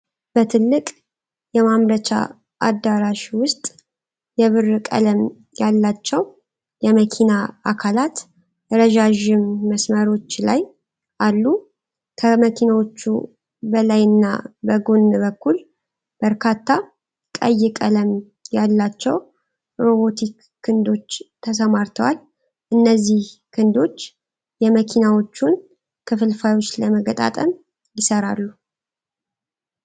በትልቅ የማምረቻ አዳራሽ ውስጥ የብር ቀለም ያላቸው የመኪና አካላት ረዣዥም መስመሮች ላይ አሉ። ከመኪናዎቹ በላይና በጎን በኩል በርካታ ቀይ ቀለም ያላቸው ሮቦቲክ ክንዶች ተሰማርተዋል። እነዚህ ክንዶች የመኪናዎቹን ክፍልፋዮች ለመገጣጠም ይሠራሉ፡፡